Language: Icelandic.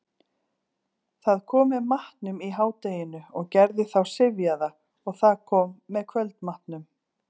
Það kom með matnum í hádeginu og gerði þá syfjaða, og það kom með kvöldmatnum.